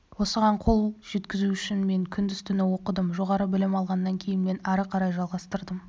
осыған қол жеткізу үшін мен күндіз-түні оқыдым жоғары білім алғаннан кейін мен ары қарай жалғастырдым